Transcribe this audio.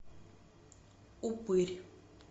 упырь